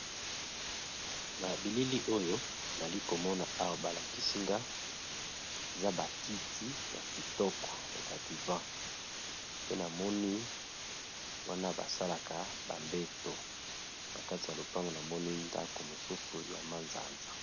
Na bilili oyo nali komona awa balakisinga eza bakiti ya kitoko ya badivin pe na moni wana basalaka bambeto na kati ya lopango na moni ndako mosusu ya manzanza.